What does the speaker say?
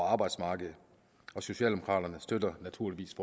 arbejdsmarkedet socialdemokraterne støtter naturligvis